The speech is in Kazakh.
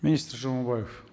министр жамаубаев